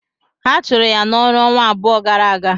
Ha chụrụ ya n'ọrụ ọnwa abụọ gara aga.